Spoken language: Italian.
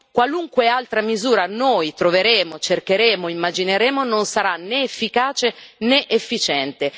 qualunque altra misura noi troveremo, cercheremo o immagineremo non sarà né efficace né efficiente.